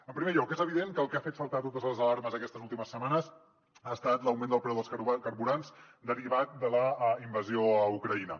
en primer lloc és evident que el que ha fet saltar totes les alarmes aquestes últimes setmanes ha estat l’augment del preu dels carburants derivat de la invasió a ucraïna